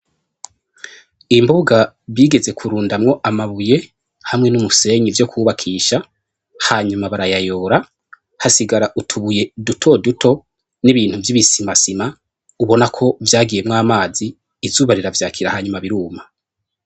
Imbuga bigeze kurundamwo amabuye hamwe n'umusenyi vyo kwubakisha, hanyuma barayayora, hasigara utubuye dutoduto n'ibintu vy'ibisimasima ubona ko vyagiyemwo amazi, izuba riravyakira hanyuma biruma.